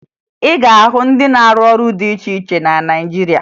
Ị ga-ahụ ndị na-arụ ọrụ dị iche iche na Naịjirịa